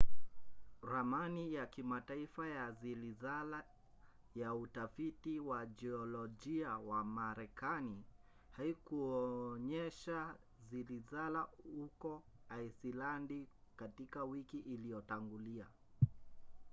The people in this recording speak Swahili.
ramani ya kimataifa ya zilizala ya utafiti wa jiolojia wa marekani haikuonyesha zilizala huko aisilandi katika wiki iliyotangulia